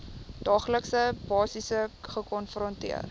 daaglikse basis gekonfronteer